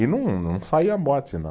E não, não saía morte, não.